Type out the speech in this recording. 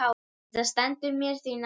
Þetta stendur mér því nærri.